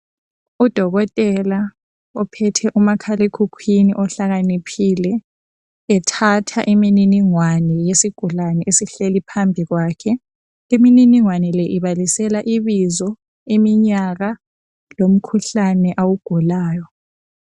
Udokotela ophethe umakhalekhukhwini ohlakaniphile ethatha imniningwane yesigulane esihleli phambi kwakhe imniningwane le ibalisela ibizo iminyaka lomkhuhlane awugulayo